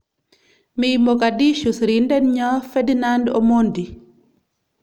Mii Mogadishu sirindetnyo Ferdinand Omondi